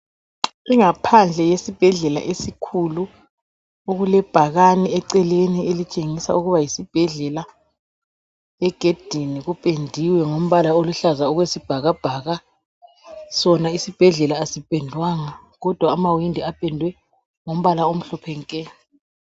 Ingaphandle yesibhedlela esikhulu okulebhakane eceleni elitshengisa ukuba yisibhedlela egedini kupendiwe ngombala oluhlaza okwesibhakabhaka sona isibhedlela asipendwanga kodwa amawindi apendwe ngombala omhlophe nke.